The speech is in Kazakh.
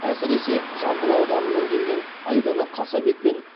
әсіресе жамбыл ауданынан келген айдана қасабек пен